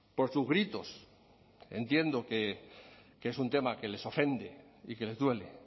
por sus gritos entiendo que es un tema que les ofende y que les duele